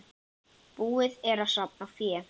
Búið er að safna fé.